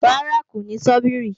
Rárá, kò ní sọ́bìrì